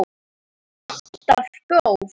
Alltaf góð.